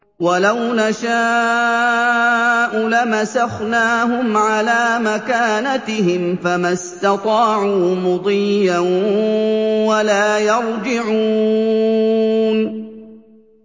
وَلَوْ نَشَاءُ لَمَسَخْنَاهُمْ عَلَىٰ مَكَانَتِهِمْ فَمَا اسْتَطَاعُوا مُضِيًّا وَلَا يَرْجِعُونَ